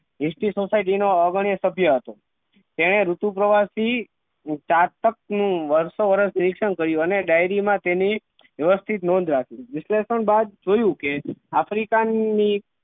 History society નો અગ્રણી સભ્ય હતો તેને ઋતુ પ્રવાસ થી સાર્થક નું વર્ષો વર્ષ નિરીક્ષણ કર્યું અને dairy માં તેની વ્યવસ્થિત નોંધ રાખી વિશ્લેષણ બાદ જોયું કે આફ્રિકા ની